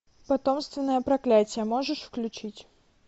потомственное проклятие можешь включить